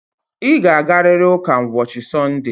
Ị ga-agarịrị ụka ụbọchị Sọnde a.